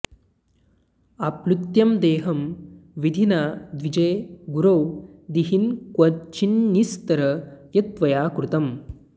आप्लुत्य देहं विधिना द्विजे गुरौ दिहिन्क्वचिन्निस्तर यत्त्वया कृतम्